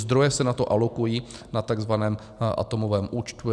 Zdroje se na to alokují na takzvaném atomovém účtu.